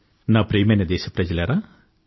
నా ప్రియమైన దేశ ప్రజలారా